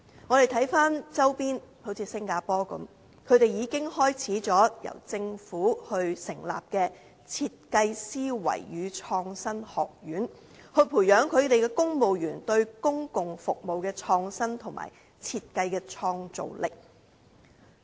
參看周邊地區，例如新加坡已開始由政府成立設計思維與創新學院，培養其公務員對公共服務的創新，以及設計的創造力。